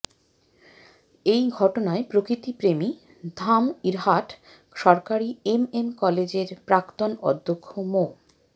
এই ঘটনায় প্রকৃতিপ্রেমী ধামইরহাট সরকারি এমএম কলেজের প্রাক্তন অধ্যক্ষ মো